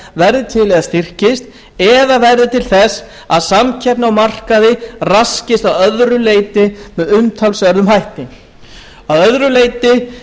verði til eða styrkist eða verði til þess að samkeppni á markaði raskist að öðru leyti með umtalsverðum hætti að öðru leyti